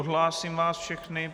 Odhlásím vás všechny.